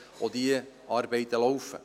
Auch diese Arbeiten laufen.